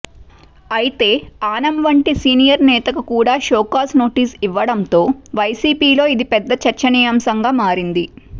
అయితే ఆనం వంటి సీనియర్ నేతకు కూడా షోకాజ్ నోటీసు ఇవ్వడంతో వైసీపీలో ఇది పెద్ద చర్చానీయాంశంగా మారింది